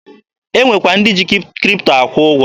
E nwekwa ndị ji Kripto akwụ ụgwọ